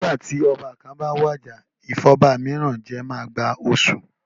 Nígbà tí ọba kan bá wàjà ìfọba mìíràn jẹ máa gba oṣù.